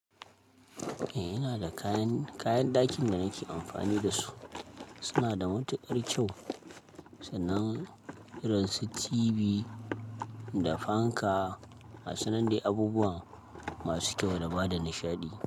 Eh, ina da kayan, kayan ɗakin da nake amfani da su. Suna da matuƙar kyau, sannan irin su TV da fanka, gasu nan dai abubuwan masu kyau da bada nishaɗi.